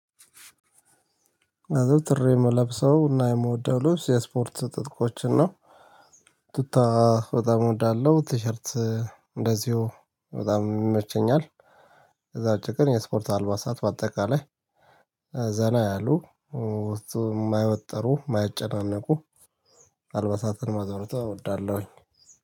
አዘውትሬ የምለብሰው እና የምወደው ልብስ የስፖርት ትጥቆችን ነው። ቱታ በጣም እወዳለሁ ቲሸርት እንደዚሁ በጣም ይመቸኛል። ከዛ ውጪ የስፖርት አልባሳት በአጠቃላይ ዘና ያሉ ውስጡ የማያወጠሩ የማያጨናነቁ አልበሳትን ማዘውተር እወዳለሁኝ።